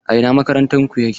A ina makarantar ku yake?